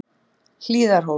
Hlíðarhóli